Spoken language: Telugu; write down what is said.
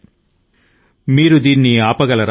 క్యా ఉస్ కో రోక్ సకేంగే మిట్ నే వాలే మిట్ జాయేఁ